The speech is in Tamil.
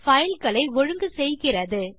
பைல் ஐ ஒழுங்கு செய்கிறது